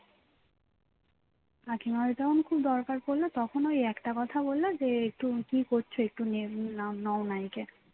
কাকিমা একদম খুব দরকার পড়ল তখন ওই একটা কথা বললো যে একটু কি করছো একটু নে~ নাও~ নাওনা একে